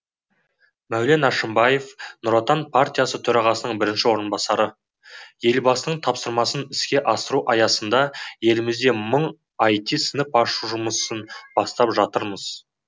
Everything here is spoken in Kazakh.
мәулен әшімбаев нұр отан партиясы төрағасының бірінші орынбасары елбасының тапсырмасын іске асыру аясында елімізде мың іт сынып ашу жұмысын бастап жатырмыз